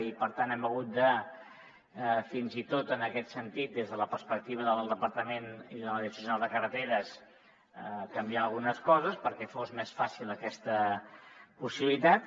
i per tant hem hagut de fins i tot en aquest sentit des de la perspectiva del departament i de la direcció de carreteres canviar algunes coses perquè fos més fàcil aquesta possibilitat